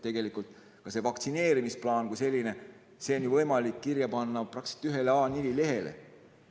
Tegelikult see vaktsineerimisplaan kui selline on ju võimalik kirja panna praktiliselt ühele A4 lehele.